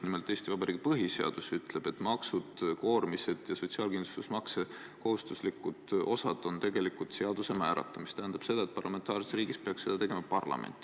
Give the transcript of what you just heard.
Nimelt, Eesti Vabariigi põhiseadus ütleb, et maksud, koormised ja sotsiaalkindlustusmakse kohustuslikud osad on tegelikult seaduse määrata, mis tähendab seda, et parlamentaarses riigis peaks seda tegema parlament.